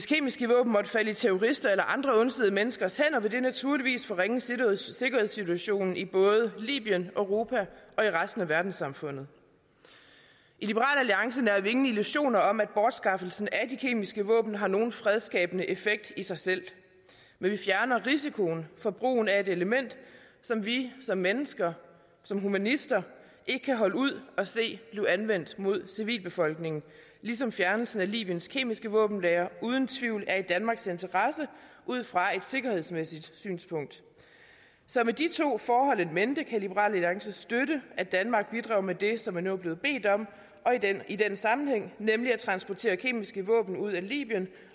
kemiske våben måtte falde i terroristers eller andre ondsindede menneskers hænder ville det naturligvis forringe sikkerhedssituationen i både libyen europa og i resten af verdenssamfundet i liberal alliance nærer vi ingen illusioner om at bortskaffelsen af de kemiske våben har nogen fredsskabende effekt i sig selv men vi fjerner risikoen for brugen af et element som vi som mennesker som humanister ikke kan holde ud at se blive anvendt mod en civilbefolkning ligesom fjernelsen af libyens kemiske våbenlagre uden tvivl er i danmarks interesse ud fra et sikkerhedsmæssigt synspunkt så med de to forhold in mente kan liberal alliance støtte at danmark bidrager med det som man nu er blevet bedt om i den sammenhæng nemlig at transportere kemiske våben ud af libyen